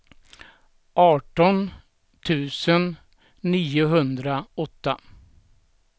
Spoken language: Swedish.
arton tusen niohundraåtta